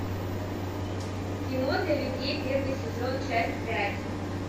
кино для людей первый сезон часть пять